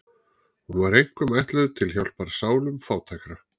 Hún var einkum ætluð til hjálpar sálum fátækra.